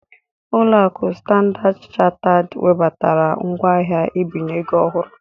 Ulo aku Standard Chartered webatara ngwaahịa mbinye ego ọhụrụ